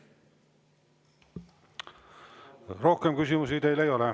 Rohkem küsimusi teile ei ole.